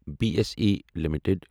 B S E limited